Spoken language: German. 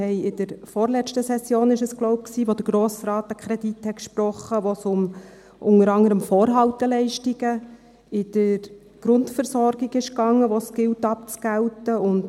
Ich glaube, es war in der vorletzten Session, als der Grosse Rat einen Kredit sprach, bei dem es unter anderem um Vorhalteleistungen in der Grundversorgung ging, die es abzugelten gilt.